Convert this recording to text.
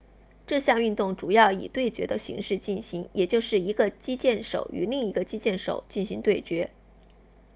这项运动主要以对决的形式进行也就是一个击剑手与另一个击剑手进行对决